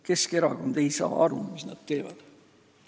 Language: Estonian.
Keskerakond ei saa aru, mis nad teevad.